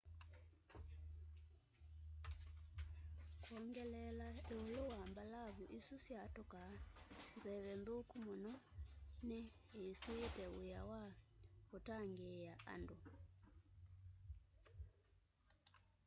kwongeleela ĩũlũ wa mbalavu isu syatũkaa nzeve nthũku mũno nĩ ĩsiĩĩte wĩa wa ũtangĩĩa andũ